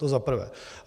To za prvé.